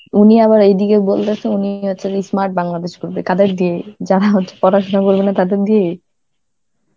উনি আবার এইদিকে বলতেছেন উনি হচ্ছে smart Bangladesh করবে কাদের দিয়ে, যারা হচ্ছে পড়াশোনা করবে না তাদের দিয়ে?